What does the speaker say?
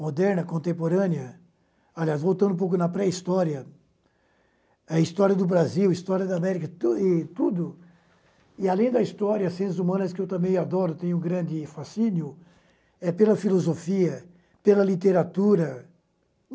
moderna, contemporânea, aliás, voltando um pouco na pré-história, a história do Brasil, a história da América, e tu e tudo, e além da história, as ciências humanas, que eu também adoro, tenho um grande fascínio, é pela filosofia, pela literatura.